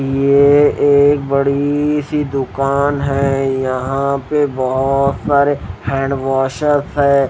ये एक बड़ी सी दुकान है यहां पे बहुत सारे हैंड वॉश है।